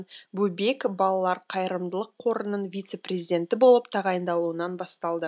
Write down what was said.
бөбек балалар қайырымдылық қорының вице президенті болып тағайындалуынан басталды